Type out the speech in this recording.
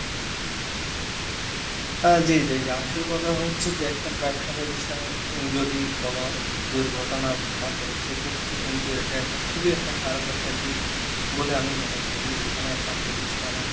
হ্যাঁ জি জি জি, আসল কথা হচ্ছে যে একটা ব্যবসা প্রতিষ্ঠানে যদি কোন দুর্ঘটনা ঘটে সেক্ষেত্রে কিন্তু এটা একটা খুবই একটা খারাপ একটা দিক, বলে বলে আমি মনে করি, এখানে একটা প্রতিষ্ঠানে,